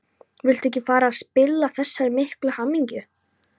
Vildi ekki fara að spilla þessari miklu hamingju.